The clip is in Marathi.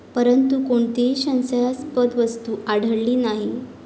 परंतु, कोणतीही संशयास्पद वस्तू आढळली नाही.